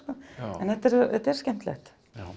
en þetta er skemmtilegt